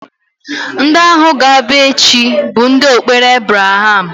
Ndị ahụ ga-abịa echi bụ ndụ okpere Abraham